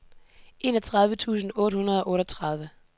enogtredive tusind otte hundrede og otteogtredive